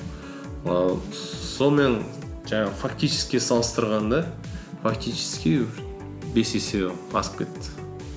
ііі сонымен жаңағы фактически салыстырғанда фактически бес есе асып кетті